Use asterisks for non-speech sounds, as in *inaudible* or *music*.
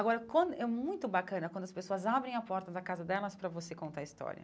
Agora, *unintelligible* é muito bacana quando as pessoas abrem a porta da casa delas para você contar a história.